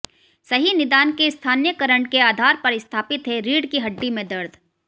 सही निदान के स्थानीयकरण के आधार पर स्थापित है रीढ़ की हड्डी में दर्द